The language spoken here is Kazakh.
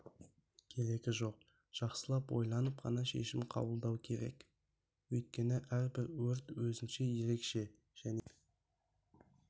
керегі жоқ жақсылап ойланып ғана шешім қабылдау керек өйткені әрбір өрт өзінше ерекше және сен